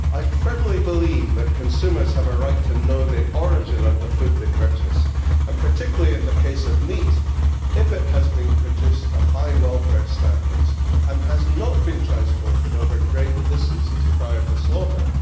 I firmly believe that consumers have a right to know the origin of the food they purchase and, particularly in the case of meat, if it has been produced to high welfare standards and has not been transported over great distances prior to slaughter.